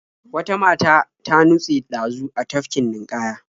Wata mata ta nutse ɗazu a tafkin ninƙaya.